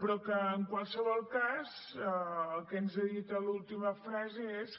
però en qualsevol cas el que ens ha dit a l’última frase és